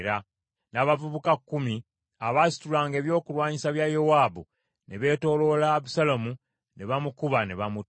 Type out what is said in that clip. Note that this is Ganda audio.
N’abavubuka kkumi abaasitulanga ebyokulwanyisa bya Yowaabu ne beetooloola Abusaalomu ne bamukuba ne bamutta.